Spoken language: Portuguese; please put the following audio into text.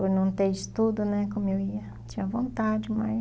Por não ter estudo né, como eu ia, tinha vontade, mas...